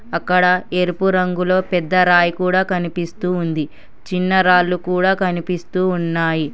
అక్కడ ఎరుపు రంగులో పెద్ద రాయి కూడా కనిపిస్తూ ఉంది చిన్న రాళ్లు కూడా కనిపిస్తూ ఉన్నాయి.